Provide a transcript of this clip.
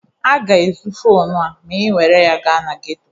A ga-ezu fonu a ma ị were ya gaa na geto.